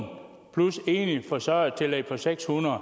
plus enlig forsørgertillæg på seks hundrede